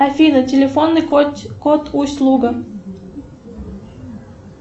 афина телефонный код усть луга